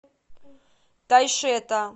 тайшета